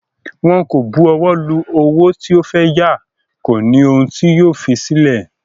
Wọn kò bu ọwọ́ lu owó tí o fẹ́ yá, kò ní ohun tí yóò fi sílẹ̀